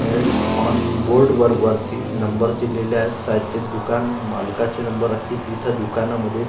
हे on board वर वरती नंबर दिलेले आहेत शायद ते दुकान मालकाचे नंबर असतील इथं दुकानामध्ये--